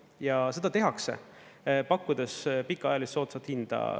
Ja seda tehakse, pakkudes pikaajalist soodsat hinda.